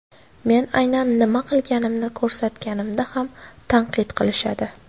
Men aynan nima qilganimni ko‘rsatganimda ham tanqid qilishadi”.